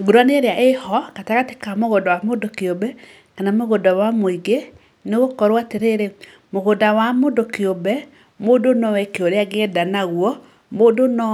Ngũrani ĩrĩa ĩho gatagatĩ ka mũgũnda wa mũndũ kĩũmbe kana mũgũnda wa mũingĩ nĩ gũkorwo atĩrĩrĩ, mũgũnda wa mũndũ kĩũmbe mũndũ no eke ũrĩa angĩenda naguo. Mũndũ no